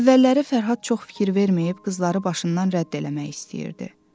Əvvəlləri Fərhad çox fikir verməyib, qızları başından rədd eləmək istəyirdi.